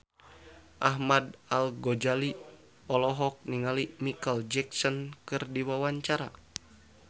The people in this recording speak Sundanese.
Ahmad Al-Ghazali olohok ningali Micheal Jackson keur diwawancara